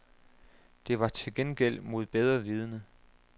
Det var til gengæld mod bedre vidende.